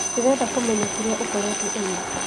Ndĩrenda kũmenya kĩrĩa ũkoretwo ũgĩĩka